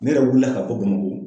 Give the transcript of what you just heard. Ne yɛrɛ wulila ka bɔ bamakɔ